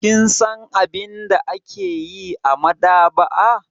Kin san abin da ake yi a maɗaba'a?